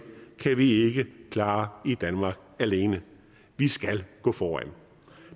kan vi ikke klare i danmark alene vi skal gå foran